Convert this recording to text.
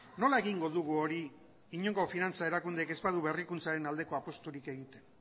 nola egingo dugu hori inongo finantza erakundeek ez badu berrikuntzaren aldeko apusturik egiten